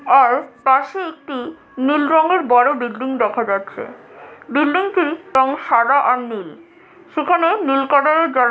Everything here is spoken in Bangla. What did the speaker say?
আর পাশে একটি নীল রঙের বড় বিল্ডিং দেখা যাচ্ছে। বিল্ডিংটি রং সাদা আর নীল সেখানে নীল কালারের জা --